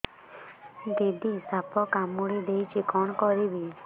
ଦିଦି ସାପ କାମୁଡି ଦେଇଛି କଣ କରିବି